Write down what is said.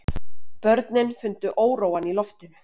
Börnin fundu óróann í loftinu.